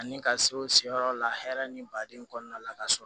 Ani ka se o sen yɔrɔ la hɛrɛ ni baden kɔnɔna la ka sɔrɔ